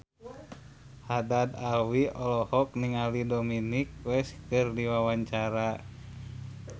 Haddad Alwi olohok ningali Dominic West keur diwawancara